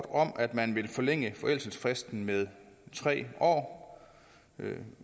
om at man vil forlænge forældelsesfristen med tre år